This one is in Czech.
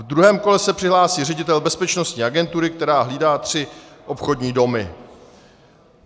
V druhém kole se přihlásí ředitel bezpečnostní agentury, která hlídá tři obchodní domy.